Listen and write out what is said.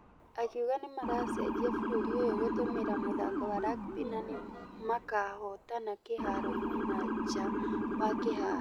Akĩuga nĩmaracenjia bũrũri ũyũ gũtũmĩra mũthako wa rugby na nĩmakahotana kĩharo-inĩ na nja wa kĩharo.